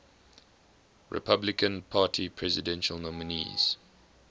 republican party presidential nominees